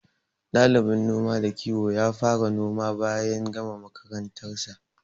Ɗalibin noma da kiwon ya fara noma bayan gama makarantar sa.